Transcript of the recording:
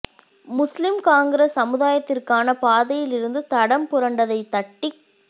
முஸ்லீம் காங்கிரஸ் சமூதாயத்திற்கான பாதையில் இருந்து தடம் புரண்டதைத் தட்டிக்